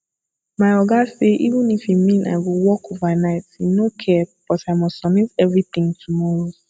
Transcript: my oga say even if e mean i go work overnight im no care but i must submit everything tomorrow